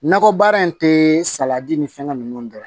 Nakɔ baara in tɛ saladi ni fɛnkɛ ninnu dɔn